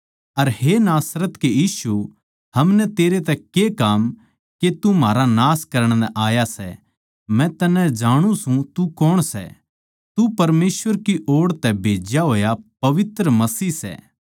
हे नासरत के यीशु हमनै तेरै तै के काम के तू म्हारा नाश करण नै आया सै मै तन्नै जांणु सूं तू कौण सै तू परमेसवर की ओड़ तै भेज्या होया पवित्र मसीह सै